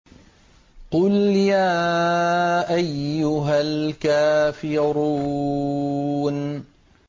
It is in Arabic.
قُلْ يَا أَيُّهَا الْكَافِرُونَ